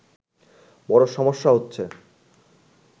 বড়ো সমস্যা হচ্ছে